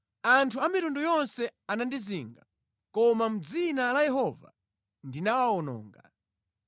Anthu a mitundu yonse anandizinga, koma mʼdzina la Yehova ndinawawononga.